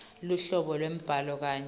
luhlobo lwembhalo kanye